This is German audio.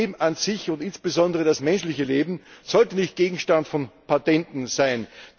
Das Leben an sich und insbesondere das menschliche Leben sollte nicht Gegenstand von Patenten sein.